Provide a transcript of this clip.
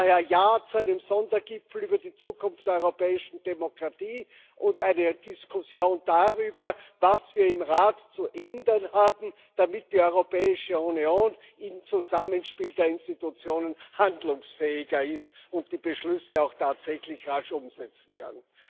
Daher Ja zu einem Sondergipfel über die Zukunft der europäischen Demokratie und eine Diskussion darüber, was wir im Rat zu ändern haben, damit die Europäische Union im Zusammenspiel der Institutionen handlungsfähiger ist und die Beschlüsse auch tatsächlich rasch umsetzen kann.